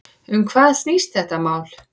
Um hvað snýst þetta mál?